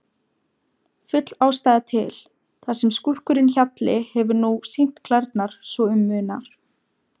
Full ástæða til, þar sem skúrkurinn Hjalli hefur nú sýnt klærnar svo um munar.